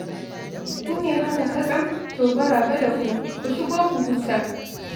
Ku ne haka katsam? To maraba da ku. Ku shigo ku huta.